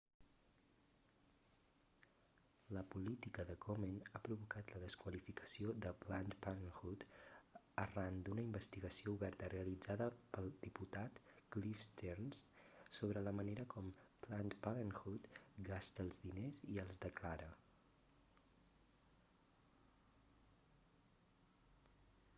la política de komen ha provocat la desqualificació de planned parenthood arran d'una investigació oberta realitzada pel diputat cliff stearns sobre la manera com planned parenthood gasta els diners i els declara